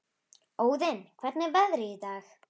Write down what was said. Óðinn, hvernig er veðrið í dag?